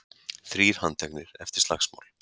Þrír handteknir eftir slagsmál